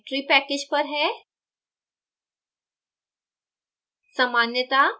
यह geometry package पर है